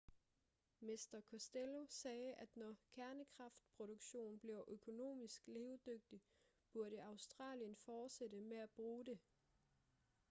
mr costello sagde at når kernekraftproduktion bliver økonomisk levedygtig burde australien fortsætte med at bruge det